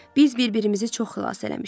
Biz bir-birimizə çox xilas eləmişik.